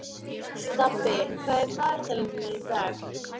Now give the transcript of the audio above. Stapi, hvað er í dagatalinu mínu í dag?